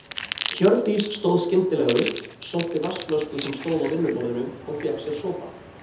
Hjördís stóð skyndilega upp, sótti vatnsflösku sem stóð á vinnuborðinu og fékk sér sopa.